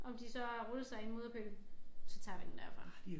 Om de så har rullet sig in mudderpøl så tager vi den derfra